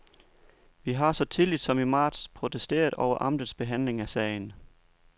Vi har så tidligt som i marts protesteret over amtets behandling af sagen.